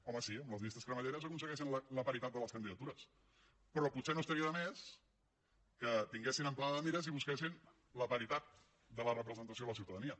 home sí amb les llistes cremalleres aconsegueixen la paritat de les candidatures però potser no estaria de més que tinguessin amplada de mires i busquessin la paritat de la representació de la ciutadania